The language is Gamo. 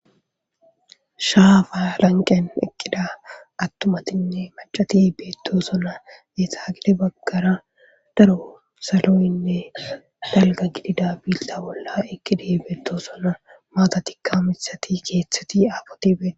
Shaafa lanqen eqqida attumatinne macati beettosona eetaagide baggara daro saloynne dalga gidida biilta bolla eqqida beetto sona maata tikka mithati keeththeti aafoti beet.